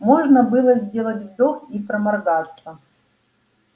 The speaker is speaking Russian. можно было сделать вдох и проморгаться